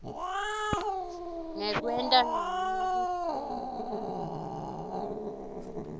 ngekwenta ncono kuhlela